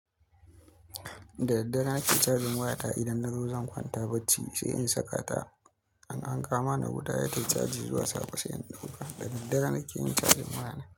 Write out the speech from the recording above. Daddare nake charging wayata idan na zo zan kwanta bacci sai in saka ta. An kama ni guda ya tayi charging zuwa safe sai an dauka. Daddare nake yin charging wayana.